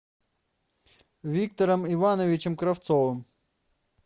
виктором ивановичем кравцовым